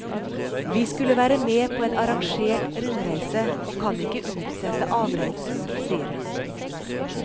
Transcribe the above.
Vi skulle være med på en arrangert rundreise, og kan ikke utsette avreisen, sier hun.